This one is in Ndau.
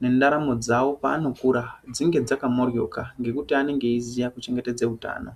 nendaramo yavo pavanokura dzinge dzakamboroka nekuti anenge eiziya kuchengetedza utano.